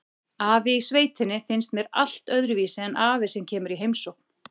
Afi í sveitinni finnst mér allt öðruvísi en afi sem kemur í heimsókn.